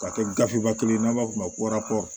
Ka kɛ gafe ba kelen ye n'an b'a f'o ma